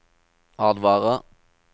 advarer